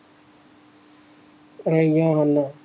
ਹੈਗੇ ਆ ਹੱਲ